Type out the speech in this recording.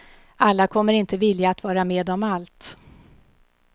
Alla kommer inte vilja att vara med om allt.